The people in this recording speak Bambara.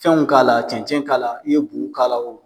Fɛn k'a la cɛncɛn k'a la i ye bu k'a la o